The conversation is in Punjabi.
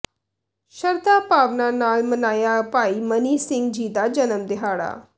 ਸ਼ਰਧਾ ਭਾਵਨਾ ਨਾਲ ਮਨਾਇਆ ਭਾਈ ਮਨੀ ਸਿੰਘ ਜੀ ਦਾ ਜਨਮ ਦਿਹਾੜਾ